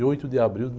oito de abril de